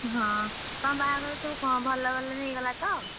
ହଁ, ତମ ବାହାଘର ସବୁ କଣ ଭଲରେ ଭଲରେ ହେଇଗଲା ତ?